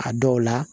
A dɔw la